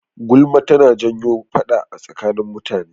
Gulma tana janyo faɗa a tsakanin mutane.